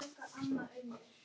Helst beint.